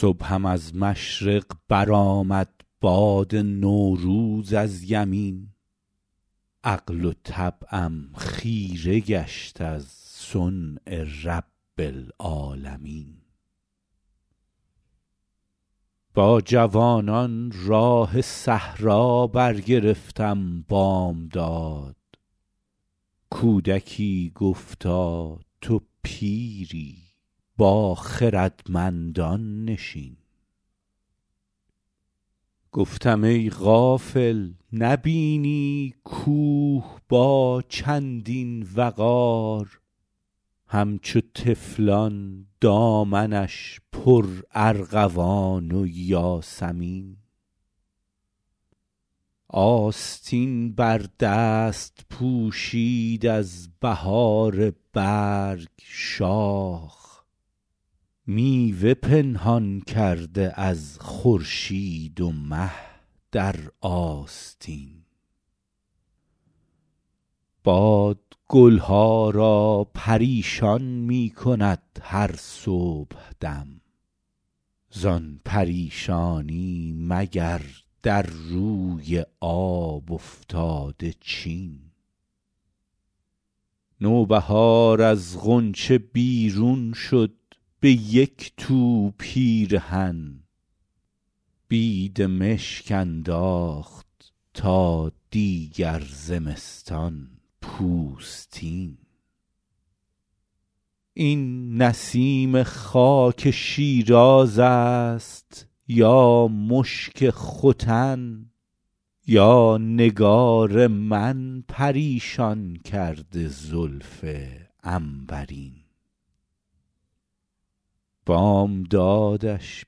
صبحم از مشرق برآمد باد نوروز از یمین عقل و طبعم خیره گشت از صنع رب العالمین با جوانان راه صحرا برگرفتم بامداد کودکی گفتا تو پیری با خردمندان نشین گفتم ای غافل نبینی کوه با چندین وقار همچو طفلان دامنش پرارغوان و یاسمین آستین بر دست پوشید از بهار برگ شاخ میوه پنهان کرده از خورشید و مه در آستین باد گل ها را پریشان می کند هر صبحدم زان پریشانی مگر در روی آب افتاده چین نوبهار از غنچه بیرون شد به یک تو پیرهن بیدمشک انداخت تا دیگر زمستان پوستین این نسیم خاک شیراز است یا مشک ختن یا نگار من پریشان کرده زلف عنبرین بامدادش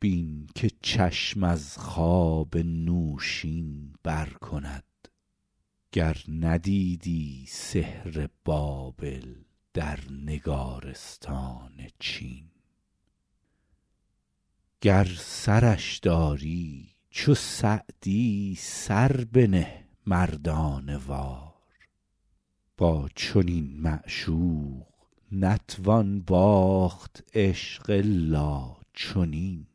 بین که چشم از خواب نوشین بر کند گر ندیدی سحر بابل در نگارستان چین گر سرش داری چو سعدی سر بنه مردانه وار با چنین معشوق نتوان باخت عشق الا چنین